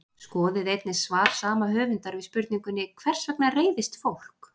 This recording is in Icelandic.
Skoðið einnig svar sama höfundar við spurningunni Hvers vegna reiðist fólk?